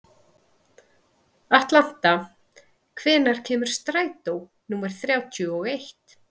Atlanta, hvenær kemur strætó númer þrjátíu og eitt?